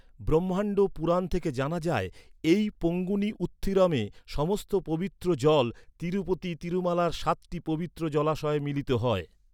ব্রহ্মাণ্ড পুরাণ থেকে জানা যায়, এই পঙ্গুনি উত্থিরমে সমস্ত পবিত্র জল তিরুপতি তিরুমালার সাতটি পবিত্র জলাশয়ে মিলিত হয়।